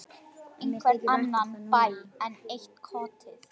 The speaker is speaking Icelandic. Einhvern annan bæ, enn eitt kotið.